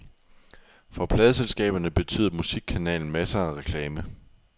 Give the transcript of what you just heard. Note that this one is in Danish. For pladeselskaberne betyder musikkanalen masser af reklame.